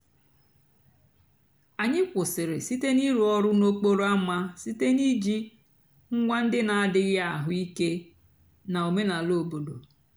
ányị́ kwụ́sị́rị́ sìté n'ị̀rụ́ ọ̀rụ́ n'òkpòró ámá sìté nà íjí ǹgwá ndị́ nà-àdíghị́ àhụ́ íké nà ọ̀mènàlà òbòdo.